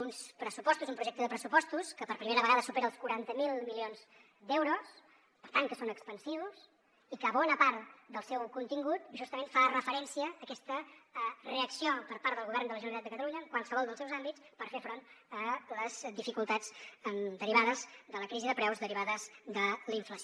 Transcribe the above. uns pressupostos un projecte de pressupostos que per primera vegada supera els quaranta miler milions d’euros per tant que són expansius i que bona part del seu contingut justament fa referència a aquesta reacció per part del govern de la generalitat de catalunya en qualsevol dels seus àmbits per fer front a les dificultats derivades de la crisi de preus derivades de la inflació